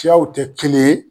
Siyaw tɛ kelen ye